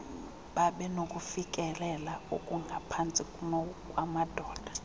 babenokufikelela okungaphantsi kunokwamadoda